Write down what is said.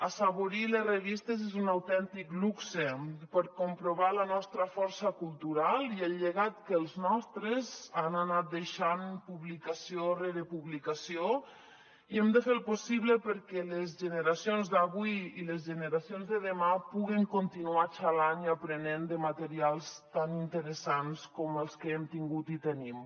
assaborir les revistes és un autèntic luxe per comprovar la nostra força cultural i el llegat que els nostres han anat deixant publicació rere publicació i hem de fer el possible perquè les generacions d’avui i les generacions de demà puguen continuar xalant i aprenent de materials tan interessants com els que hem tingut i tenim